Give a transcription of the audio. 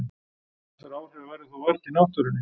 Þessara áhrifa verður þó vart í náttúrunni.